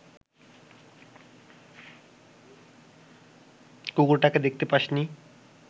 কুকুরটাকে দেখতে পাসনি